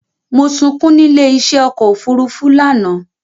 Mo sunkún nílé í ṣé ọkọ òfúrúúfú lánàá